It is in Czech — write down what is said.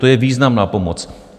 To je významná pomoc.